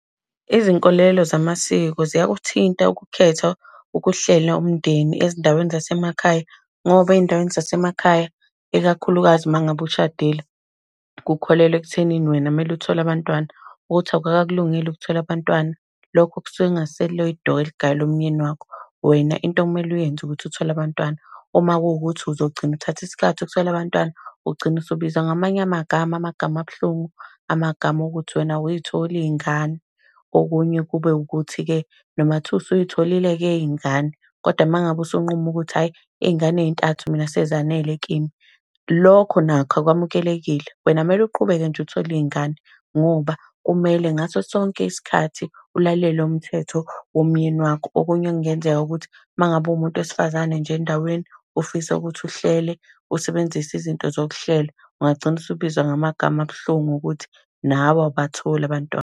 Izinkolelo zamasiko ziyakuthinta ukukhetha ukuhlela umndeni ezindaweni zasemakhaya. Ngoba ey'ndaweni zasemakhaya, ikakhulukazi uma ngabe ushadile, kukholelwa ekuthenini wena kumele uthole abantwana, ukuthi awukakakulungeli ukuthola abantwana, lokho kusuke kungasilo idokwe eligayelwe umyeni wakho. Wena into ekumele uyenze ukuthi uthole abantwana. Uma kuwukuthi uzogcina uthatha isikhathi ukuthola abantwana, ugcina usubizwa ngamanye amagama, amagama abuhlungu, amagama okuthi wena awuy'tholi iy'ngane. Okunye kube ukuthi-ke, noma kungathiwa usuy'tholile-ke ke iy'ngane, kodwa uma ngabe usunquma ukuthi ayi iy'ngane ey'ntathu mina sezanele kimi, lokho nakho akwamukelekile. Wena kumele uqhubeke nje uthole iy'ngane, ngoba kumele ngaso sonke isikhathi ulalele umthetho womyeni wakho. Okunye okungenzeka ukuthi uma ngabe uwumuntu wesifazane nje endaweni, ufisa ukuthi uhlele, usebenzise izinto zokuhlela, ungagcina usubizwa ngamagama abuhlungu ukuthi nawe awubatholi abantwana.